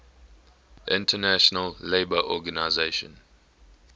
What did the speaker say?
international labour organization